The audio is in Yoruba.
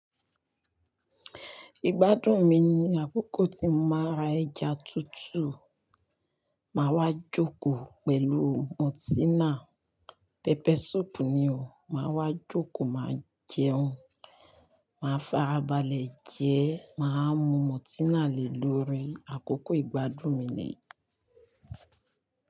Ìgbádùn mi ni àkókò tí mo máa ra ẹja tútù, mà wá jókòó pẹ̀lú mọ́tínà, pepper soap ni o. Mà wá jókòó, mà jẹun, mà fara balẹ̀ jẹ́, mà mú mọ́tínà lè lórí. Àkókò ìgbádùn mi ni.